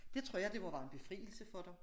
Det tror jeg det må være en befrielse for dem